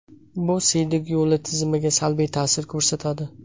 Bu siydik yo‘li tizimiga salbiy ta’sir ko‘rsatadi.